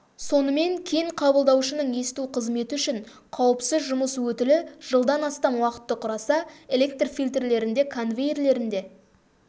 сонымен кен қабылдаушының есту қызметі үшін қауіпсіз жұмыс өтілі жылдан астам уақытты құраса электр фильтрлерінде конвейерлерінде